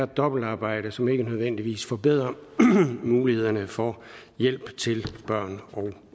dobbeltarbejde som ikke nødvendigvis forbedrer mulighederne for hjælp til børn og